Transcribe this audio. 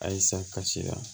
Ayi sa kasi la